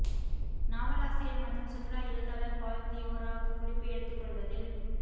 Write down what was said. நாவலாசிரியர் மற்றும் சுற்றுலா எழுத்தாளர் பால் தியோராக் குறிப்பு எடுத்துக் கொள்வதில்